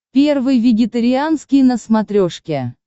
первый вегетарианский на смотрешке